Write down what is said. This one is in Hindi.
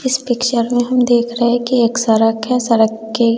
इस पिक्चर में हम देख रहे हैं कि एक सड़क है सड़क के--